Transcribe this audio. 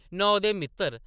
नां ओह्‌‌‌दे मित्तर ।